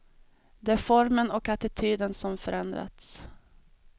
Det är formen och attityden som förändrats.